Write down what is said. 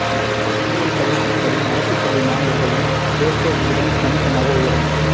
பொறியியல் படிப்புகளில் அரசு பள்ளி மாணவர்களின் சேர்க்கை விகிதம் கணிசமாக உயரும்